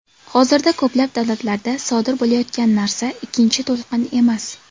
Hozirda ko‘plab davlatlarda sodir bo‘layotgan narsa ikkinchi to‘lqin emas.